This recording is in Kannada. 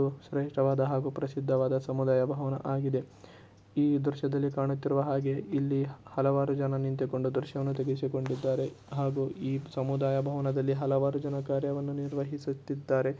ಇದು ಶ್ರೇಷ್ಟವಾದ ಹಾಗು ಪ್ರಸಿದ್ಧವಾದ ಸಮುದಾಯಭವನ ಆಗಿದೆ ಈ ದೃಶ್ಯದಲ್ಲಿ ಕಾಣುತ್ತಿರುವ ಹಾಗೆ ಇಲ್ಲಿ ಹಲವಾರು ಜನ ನಿಂತುಕೊಂಡು ದೃಶ್ಯವನ್ನು ತೆಗೆಸಿಕೊಂಡಿದ್ದಾರೆ ಹಾಗು ಈ ಸಮುದಾಯ ಭವನದಲ್ಲಿ ಹಲವಾರು ಜನ ಕಾರ್ಯವನ್ನು ನಿರ್ವಹಿಸುತ್ತಿದ್ದಾರೆ .